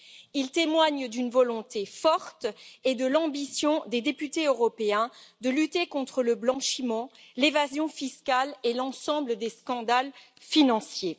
Il témoigne d'une volonté forte et de l'ambition des députés européens de lutter contre le blanchiment, l'évasion fiscale et l'ensemble des scandales financiers.